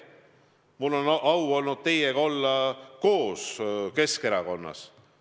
Mul on au olnud olla teiega koos Keskerakonnas.